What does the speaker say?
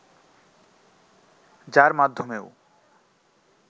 যার মাধ্যমেও